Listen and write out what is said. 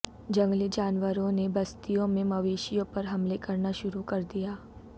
جنگلی جانوروںنے بستیوں میں مویشیوں پر حملے کرنا شروع کردیا